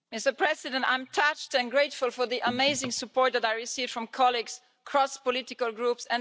Mr President, I am touched and grateful for the amazing support that I received from colleagues, cross political groups.